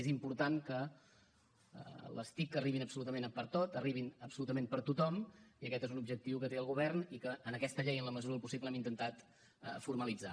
és important que les tic arribin absolutament pertot arribin absolutament per a tothom i aquest és un objectiu que té el govern i que en aquesta llei en la mesura del possible hem intentat formalitzar